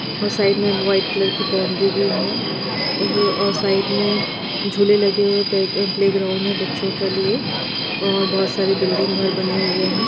और साइड में white colour की बाउंड्री भी है और साइड में झूले लगे हुए पे-प्ले ग्राउंड है बच्चो के लिए और बहुत सारे बिल्डिंग घर बने हुए है।